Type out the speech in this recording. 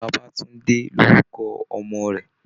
Bàbátúndé lórúkọ ọmọ rẹ̀